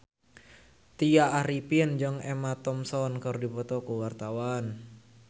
Tya Arifin jeung Emma Thompson keur dipoto ku wartawan